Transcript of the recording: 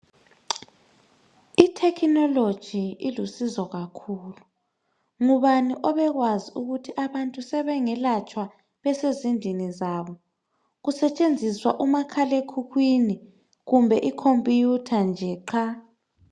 Ithekhinoloji ilusizo kakhulu, ngubani obekwazi ukuthi abantu sebengelatshwa besezindlini zabo kusetshenziswa umakhalekhwini kumbe icomputer nje qha